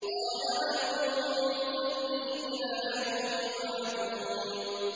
قَالَ أَنظِرْنِي إِلَىٰ يَوْمِ يُبْعَثُونَ